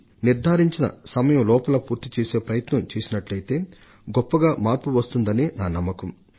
నిర్ధారించిన సమయంలోగా పూర్తి చేసే కార్యాచరణను చేపట్టినట్లయితే కరవును సంబాళించడంలో సాధ్యమైనంత అధిక ఫలితాలను సాధించవచ్చు